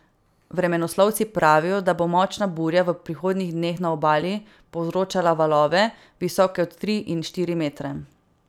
Vremenoslovci pravijo, da bo močna burja v prihodnjih dneh na Obali povzročala valove, visoke od tri in štiri metre.